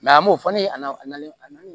an m'o fɔ ne na